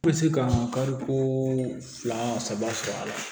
N bɛ se ka kariko fila saba sɔrɔ a la